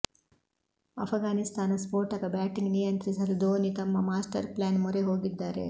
ಅಫ್ಘಾನಿಸ್ತಾನ ಸ್ಫೋಟಕ ಬ್ಯಾಟಿಂಗ್ ನಿಯಂತ್ರಿಸಲು ಧೋನಿ ತಮ್ಮ ಮಾಸ್ಟರ್ ಪ್ಲಾನ್ ಮೊರೆ ಹೋಗಿದ್ದಾರೆ